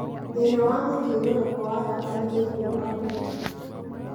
thĩna wa mũthiũrũrũko wa thakame thĩinĩ wa mĩkiha